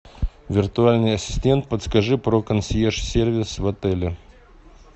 виртуальный ассистент подскажи про консьерж сервис в отеле